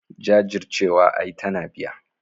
Jajircewa ai tana biya.